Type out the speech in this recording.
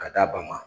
Ka d'a ba ma